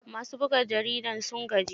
Masu buga jaridar sun gaji.